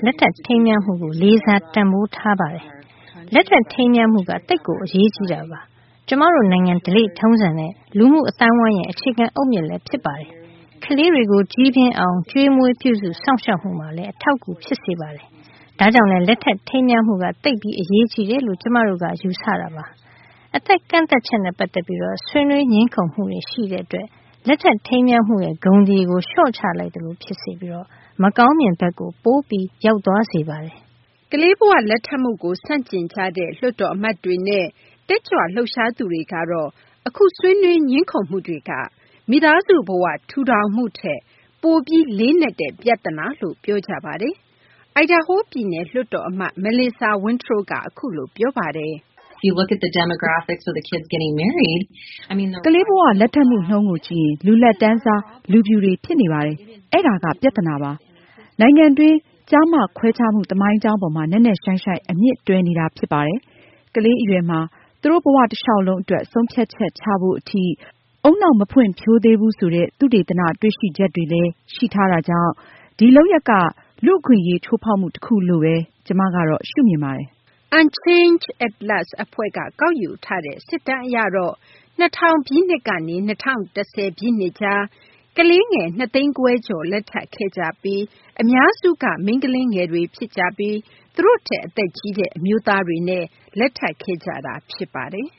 က လက်ထပ် ထိမ်းမြားမှုကို လေးစား တန်ဖိုးထားပါတယ်။ လက်ထပ် ထိမ်းမြားမှုက သိပ်အရေးကြီးပါတယ်။ ကျမတို့ နိုင်ငံ ဓလေ့ထုံးစံနဲ့ လူမှု အသိုင်းအဝိုင်းရဲ့ အခြေခံ အုတ်မြစ်လည်း ဖြစ်ပါတယ်။ ကလေးတွေကို ကြီးပြင်းအောင် ကျွေးမွေးပြုစု စောင့်ရှောက်မှုမှာ အထောက်အကူ ဖြစ်ပါတယ်။ ဒါကြောင့်လည်း လက်ထပ် ထိမ်းမြားမှုက သိပ်ပြီး အရေးကြီးတယ်လို့ ကျမတို့က ယူဆပါတယ်။ အသက် ကန့်သတ်ချက် အပေါ် ဆွေးနွေး ငြင်းခုံမှုတွေကြောင့် လက်ထပ် ထိမ်းမြားမှုရဲ့ ဂုဏ်သရေကို လျှော့ချလိုက်သလို ဖြစ်စေပြီး မကောင်းမြင်ဘက်ကို ပိုပြီး ရောက်သွားစေပါတယ်။” ကလေးဘ၀ လက်ထပ်မှုကို ဆန့်ကျင်နေကြတဲ့ လွှတ်တော် အမတ်တွေနဲ့ တက်ကြွ လှုပ်ရှားသူတွေကတော့ အခု ဆွေးနွေး ငြင်းခုံမှုတွေက မိသားစု ဘ၀ ထူထောင်မှုထက် ပိုပြီး လေးနက်တဲ့ ပြဿနာလို့ ပြောကြပါတယ်။ အိုင်ဒါဟို ပြည်နယ် လွှတ်တော် အမတ် Melissa Wintrow က အခုလို ပြောပါတယ်။ “ကလေးဘ၀ လက်ထပ်မှု နှုန်းကို ကြည့်ရင် လူလတ်တန်းစား လူဖြူတွေ ဖြစ်နေပါတယ်။ အဲဒါက ပြဿနာပါ။ နိုင်ငံတွင်း ကျားမခွဲခြားမှု သမိုင်းကြောင်းပေါ်မှာ နက်နက်ရှိုင်းရှိုင်း အမြစ်တွယ်နေတာ ဖြစ်ပါတယ်။ ကလေး အရွယ်မှာ သူတို့ ဘ၀ တလျှောက်လုံး အတွက် ဆုံးဖြတ်ချက်ချဖို့ အထိ ဦးနှောက် မဖွံ့ဖြိုးသေးဘူး ဆိုတဲ့ သုတေသန တွေ့ရှိချက်တွေလည်း ရှိထားတာကြောင့် ဒီလုပ်ရပ်က လူ့အခွင့်အရေး ချိုးဖောက်မှု တခုလို့ဘဲ ကျမကတော့ ရှုမြင်ပါတယ်။” Unchained At Last အဖွဲ့က ကောက်ယူထားတဲ့ စစ်တမ်း အရတော့ ၂၀၀၀ ပြည့်နှစ်ကနေ ၂၀၁၀ ပြည့်နှစ်ကြား ကလေးငယ် ၂၅၀,၀၀၀ ကျော် လက်ထပ်ခဲ့ကြပြီး အများစုကတော့ မိန်းကလေးငယ်တွေ ဖြစ်ပြီး သူတို့ထက် အသက်ကြီးတဲ့ အမျိုးသားတွေနဲ့ လက်ထပ်ခဲ့ကြတာ ဖြစ်ပါတယ်။